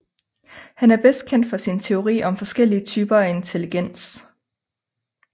Han er bedst kendt for sin teori om forskellige typer af intelligens